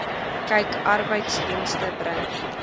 kyk arbeidsdienste bring